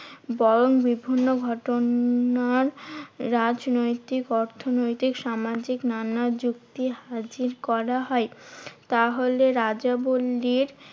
বরং বিভিন্ন ঘটনার রাজনৈতিক অর্থনৈতিক সামাজিক নানা যুক্তি হাজির করা হয়। তাহলে রাজবলির